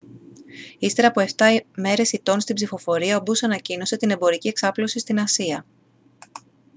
ύστερα από 7 μέρες ηττών στην ψηφοφορία ο bush ανακοίνωσε την εμπορική εξάπλωση στην ασία